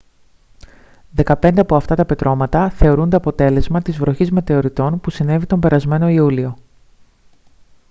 δεκαπέντε από αυτά τα πετρώματα θεωρούνται αποτέλεσμα της βροχής μετεωριτών που συνέβη τον περασμένο ιούλιο